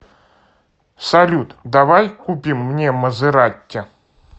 салют давай купим мне мазератти